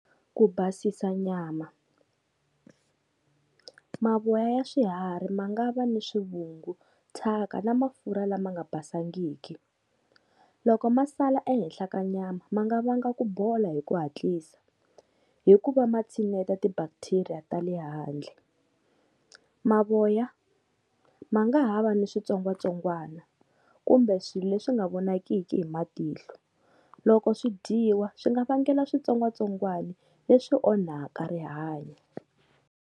Ku basisa nyama, mavoya ya swiharhi ma nga va ni swivungu, thyaka na mafurha lama nga basangiki, loko ma sala ehenhla ka nyama ma nga vanga ku bola hi ku hatlisa hi ku va ma tshineta ti-bacteria ta le handle, mavoya ma nga ha va ni switsongwatsongwana kumbe swi leswi nga vonakiki hi matihlo, loko swi dyiwa swi nga vangela switsongwatsongwani leswi onhaka rihanyo.